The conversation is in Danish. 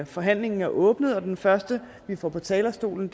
forhandlingen er åbnet den første vi får på talerstolen